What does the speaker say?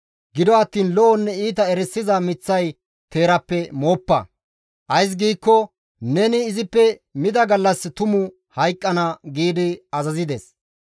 gido attiin lo7onne iita erisiza miththay teerappe mooppa; ays giikko neni izippe mida gallas tumu hayqqana» gi azazides.